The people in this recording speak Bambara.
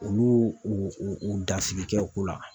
Olu y'u u dafiri kɛ o ko la